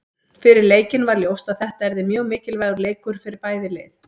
Fyrir leikinn var ljóst að þetta yrði mjög mikilvægur leikur fyrir bæði lið.